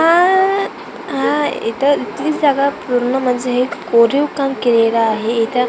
हा हा इथं इथलीच जागा पूर्ण म्हणजे हे कोरीव काम केलेलं आहे इथं --